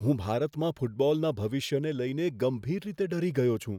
હું ભારતમાં ફૂટબોલના ભવિષ્યને લઈને ગંભીર રીતે ડરી ગયો છું.